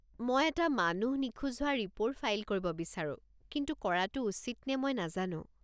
মই এটা মানুহ নিখোজ হোৱা ৰিপ'ৰ্ট ফাইল কৰিব বিচাৰো কিন্তু কৰাটো উচিত নে মই নাজানো।